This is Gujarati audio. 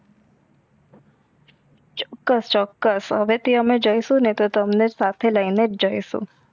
ચોક્કસ ચોક્કસ હવે થી અમે જઇસુ ને તો તમને સાથે લઈ નેજ જઇસુ